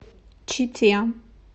чите